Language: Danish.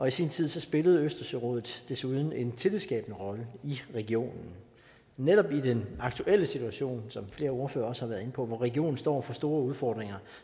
i sin tid spillede østersørådet desuden en tillidsskabende rolle i regionen netop i den aktuelle situation som flere ordførere også har været inde på hvor regionen står over for store udfordringer